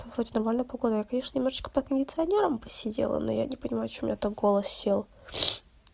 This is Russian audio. да вроде нормальная погода я конечно немного под кондиционером посидела но я не понимаю почему у меня так голос сел